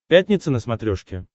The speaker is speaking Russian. пятница на смотрешке